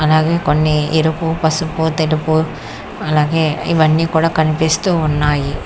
అలాగే కొన్ని ఎరుపు పసుపు తెరుకు అలాగే ఇవన్నీ కూడా కనిపిస్తూ ఉన్నాయి.